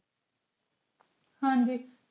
ਹਾਂਜੀ